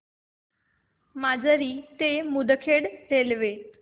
माजरी ते मुदखेड रेल्वे